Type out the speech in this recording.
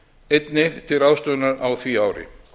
einnig til ráðstöfunar á því ári